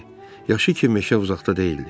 Yaxşı ki, meşə uzaqda deyildi.